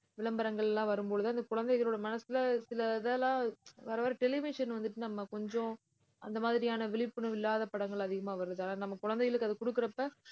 விளம்பரங்கள் எல்லாம் வரும் பொழுது அந்த குழந்தைகளோட மனசுல சில இதெல்லாம் வர வர television வந்துட்டு, நம்ம கொஞ்சம் அந்த மாதிரியான விழிப்புணர்வு இல்லாத படங்கள் அதிகமா வருதா நம்ம குழந்தைகளுக்கு அது குடுக்கறப்ப